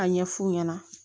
Ka ɲɛ f'u ɲɛna